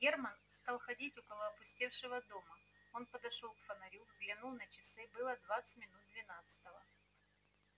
германн стал ходить около опустевшего дома он подошёл к фонарю взглянул на часы было двадцать минут двенадцатого